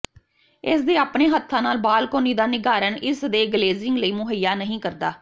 ਇਸ ਦੇ ਆਪਣੇ ਹੱਥਾਂ ਨਾਲ ਬਾਲਕੋਨੀ ਦਾ ਨਿੱਘਾਕਰਨ ਇਸ ਦੇ ਗਲੇਜ਼ਿੰਗ ਲਈ ਮੁਹੱਈਆ ਨਹੀਂ ਕਰਦਾ